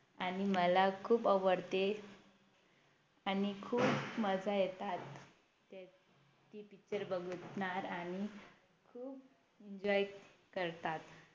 आणि मला खूप आवडते आणि खूप मजा येतात ते Picture बघणार आणि खूप Enjoy करतात